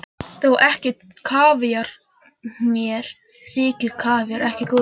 Þó ekki kavíar, mér þykir kavíar ekki góður.